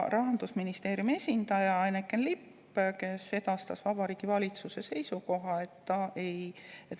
Rahandusministeeriumi esindaja Eneken Lipp edastas Vabariigi Valitsuse seisukoha.